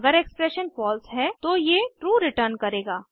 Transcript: अगर expression false है तो ये ट्रू रिटर्न करेगा